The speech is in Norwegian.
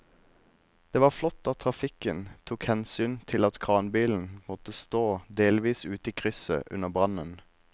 Det var flott at trafikken tok hensyn til at kranbilen måtte stå delvis ute i krysset under brannen.